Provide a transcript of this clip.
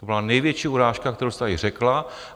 To byla největší urážka, kterou jste tady řekla.